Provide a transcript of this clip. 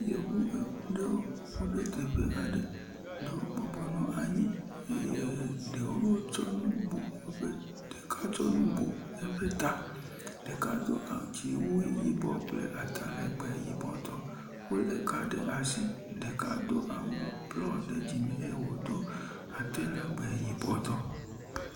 Yevu aɖewo ku ɖe teƒe aɖe. Eɖewo bɔbɔnɔ anyi eye eɖewo tsɔ nu bu woƒe ɖeka tsɔ nu bu eƒe ta. Ɖeka do a dziwu yibɔ kple atalegbe yibɔ tɔ wo le ka ɖe asi. Ɖeka do awu blɔ ɖe dzime eye wodo atalegbe yibɔ tɔ.